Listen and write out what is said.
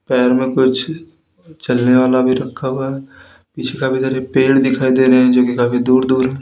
पैर में कुछ चलने वाला भी रखा हुआ है पीछे काफी सारे पेड़ भी दिखाई दे रहे हैं जो कि काफी दूर दूर--